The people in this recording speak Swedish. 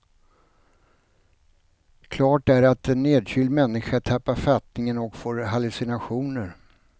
Klart är att en nedkyld människa tappar fattningen och får hallucinationer.